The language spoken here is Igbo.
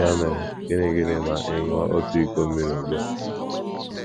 Ya mere, gịnị gịnị ma ị ṅụọ otu iko mmiri ugbu a?